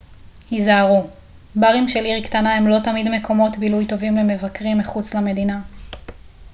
היזהרו ברים של עיר קטנה הם לא תמיד מקומות בילוי טובים למבקרים מחוץ למדינה